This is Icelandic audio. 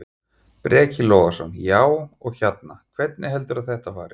Breki Logason: Já, og hérna, hvernig heldurðu að þetta fari?